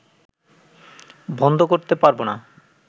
বন্ধ করতে পারব না